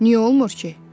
Niyə olmur ki?